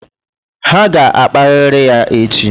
Ha ga-akparịrị ya echi